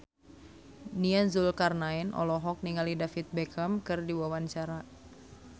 Nia Zulkarnaen olohok ningali David Beckham keur diwawancara